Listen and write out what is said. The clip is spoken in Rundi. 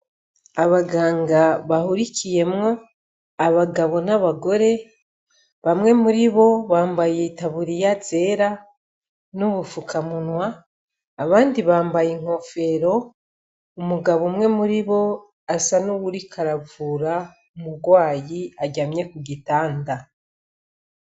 Abaganga bahurikiyemwo abagabo n'abagore bamwe muribo bambaye itaburiya zera n'ubufukamunwa abandi bambaye inkofero, umugabo umwe muribo asa n'uwuriko aravura umugwayi aryamye ku gitanda.